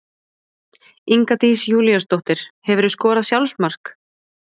Inga Dís Júlíusdóttir Hefurðu skorað sjálfsmark?